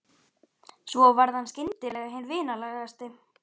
Svo varð hann skyndilega hinn vinalegasti.